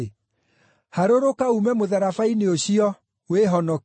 harũrũka uume mũtharaba-inĩ ũcio, wĩhonokie!”